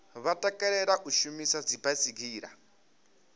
vha takalela u shumisa dzibaisigila